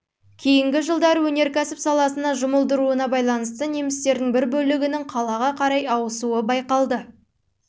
кейінгі жылдары өнеркәсіп саласына жұмылдыруына байланысты немістердің бір бөлігінің қалаға қарай ауысуы байқалды